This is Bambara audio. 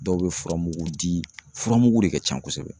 Dɔw bɛ furamugu di, furamugu de ka can kosɛbɛ